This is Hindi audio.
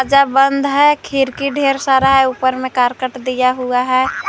सब बंद हैं खिड़की ढ़ेर सारा है ऊपर में करकट दिया हुआ है।